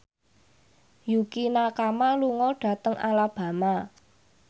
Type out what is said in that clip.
Yukie Nakama lunga dhateng Alabama